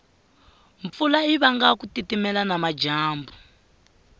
mpfula yivanga kutitimela namajambu